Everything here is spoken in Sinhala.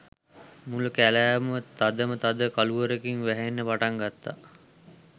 මුළු කැලෑවම තදම තද කළුවරකින් වැහෙන්න පටන් ගත්තා.